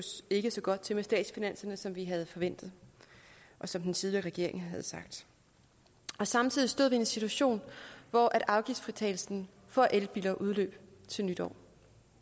ikke så godt til med statsfinanserne som vi havde forventet og som den tidligere regering havde sagt samtidig stod vi i en situation hvor afgiftsfritagelsen for elbiler udløb til nytår